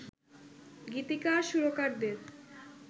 গীতিকার সুরকারদের